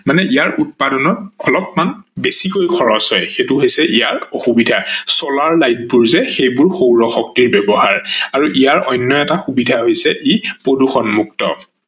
মানে ইয়াৰ উৎপাদনত অলপমান বেছিকৈ খৰচ হয় সেইটো হৈছে ইয়াৰ অসুবিধা । solar light বোৰ যে সেইবোৰ সৌৰ শক্তিৰ ব্যৱহাৰ আৰু ইয়াৰ অন্য এটা সুবিধা হৈছে ই প্ৰদূৰ্ষন মুক্ত